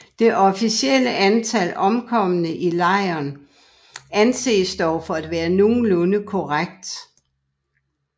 Det officielle antal omkomne i lejrene anses dog for at være nogenlunde korrekt